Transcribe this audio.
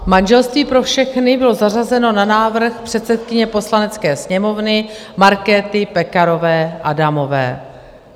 Manželství pro všechny bylo zařazeno na návrh předsedkyně Poslanecké sněmovny Markéty Pekarové Adamové.